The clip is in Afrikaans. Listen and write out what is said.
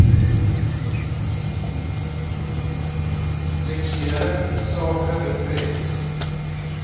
seksuele sake betref